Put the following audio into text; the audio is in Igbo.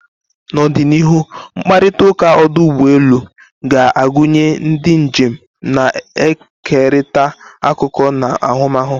N'ọdịnihu, mkparịta ụka ọdụ ụgbọ elu ga-agụnye ndị njem na-ekerịta akụkọ na ahụmahụ.